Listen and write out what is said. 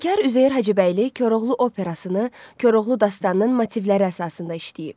Bəstəkar Üzeyir Hacıbəyli Koroğlu Operasını Koroğlu Dastanının motivləri əsasında işləyib.